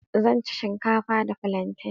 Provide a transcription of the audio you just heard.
Zan ci shinkafa da flantain.